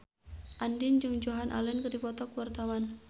Andien jeung Joan Allen keur dipoto ku wartawan